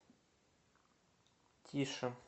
тише